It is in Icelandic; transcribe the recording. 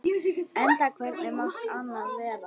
Enda hvernig mátti annað vera?